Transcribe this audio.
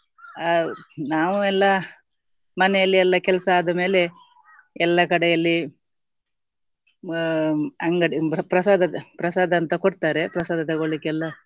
ಅಹ್ ನಾವು ಎಲ್ಲ ಮನೆಯಲ್ಲಿ ಎಲ್ಲ ಕೆಲಸ ಆದಮೇಲೆ ಎಲ್ಲ ಕಡೆಯಲ್ಲಿ ಅಹ್ ಅಂಗಡಿ ಪ್ರಸಾದ ಪ್ರಸಾದ ಅಂತ ಕೊಡ್ತಾರೆ ಪ್ರಸಾದ ತೊಗೊಳ್ಳಿಕೆಲ್ಲ